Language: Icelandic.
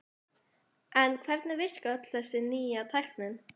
En hvernig virkar öll þessi nýja tækni?